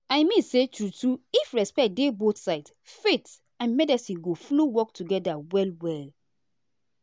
i mean say true true if respect dey both sides faith and medicine go flow work together well well.